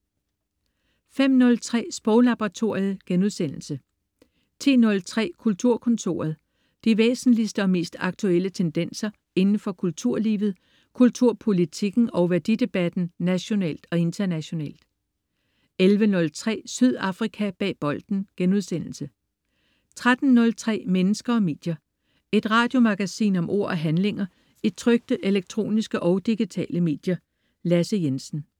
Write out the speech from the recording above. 05.03 Sproglaboratoriet* 10.03 Kulturkontoret. De væsentligste og mest aktuelle tendenser inden for kulturlivet, kulturpolitikken og værdidebatten nationalt og internationalt 11.03 Sydafrika bag bolden* 13.03 Mennesker og medier. Et radiomagasin om ord og handlinger i trykte, elektroniske og digitale medier. Lasse Jensen